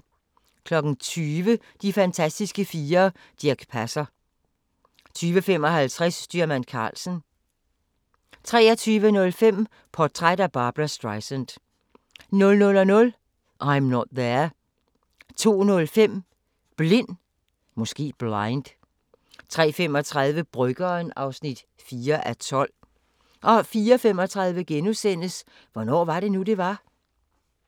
20:00: De fantastiske fire: Dirch Passer 20:55: Styrmand Karlsen 23:05: Portræt af Barbra Streisand 00:00: I'm Not There 02:05: Blind 03:35: Bryggeren (4:12) 04:35: Hvornår var det nu, det var?